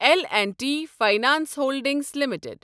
L and T finance holdings limited